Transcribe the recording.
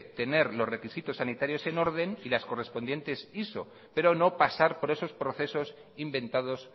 tener los requisitos sanitarios en orden y las correspondientes iso pero no pasar por esos procesos inventados